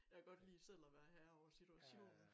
Jeg kan godt lide selv at være herre over situationen